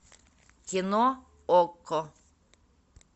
кино окко